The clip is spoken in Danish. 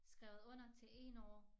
Skrevet under til én år